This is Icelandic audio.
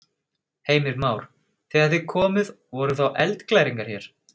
Heimir Már: Þegar þið komuð voru þá eldglæringar hér?